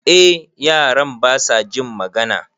Eh yaran basa jin magana